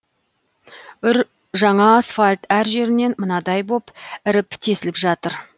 үр жаңа асфальт әр жерінен мынадай боп іріп тесіліп жатыр